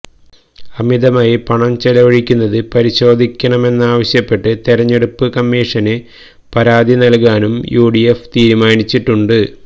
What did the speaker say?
അമിതമായി പണം ചെലവഴിക്കുന്നത് പരിശോധിക്കണമെന്നാവശ്യപ്പെട്ട് തെരഞ്ഞെടുപ്പ് കമ്മീഷന് പരാതി നൽകാനും യു ഡി എഫ് തീരുമാനിച്ചിട്ടുണ്ട്